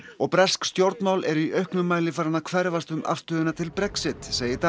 og bresk stjórnmál eru í auknum mæli farin að hverfast um afstöðuna til Brexit segir